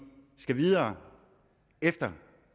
skal videre efter